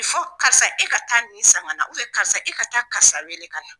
Karisa e ka taa nin san ka na karisa e ka taa karisa wele ka na.